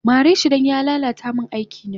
Mareshi dan ya lala ta min aikina